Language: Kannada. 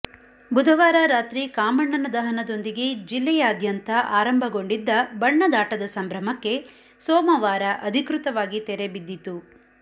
ಬುಧವಾರ ರಾತ್ರಿ ಕಾಮಣ್ಣನ ದಹನದೊಂದಿಗೆ ಜಿಲ್ಲೆಯಾದ್ಯಂಥಹ ಆರಂಭಗೊಂಡಿದ್ದ ಬಣ್ಣದಾಟದ ಸಂಭ್ರಮಕ್ಕೆ ಸೋಮವಾರ ಅಧಿಕೃತವಾಗಿ ತೆರೆ ಬಿದ್ದಿತು